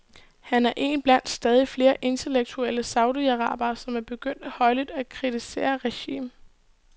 Han er en blandt stadigt flere intellektuelle saudiarabere, som er begyndt højlydt at kritisere regimet.